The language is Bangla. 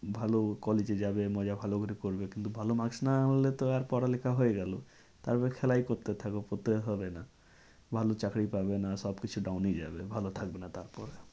ভালো collage এ যাবে মজা ভালো করে করবে কিন্তু ভালো maks না আনলে তো পড়ালেখা হয়ে গেলো। তারপরে খেলাই করতে থাকো পড়তে আর হবে না। ভালো চাকরি পাবে না সব কিছু down এই যাবে ভালো থাকবে না তারপর।